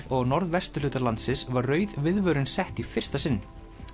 og á norðvesturhluta landsins var rauð viðvörun sett í fyrsta sinn